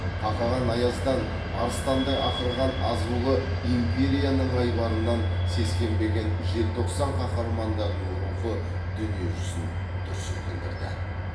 қақаған аяздан арыстандай ақырған азулы империяның айбарынан сескенбеген желтоқсан қаһармандарының рухы дүние жүзін дүр сілкіндірді